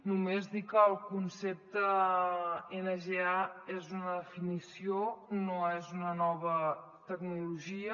només dir que el concepte nga és una definició no és una nova tecnologia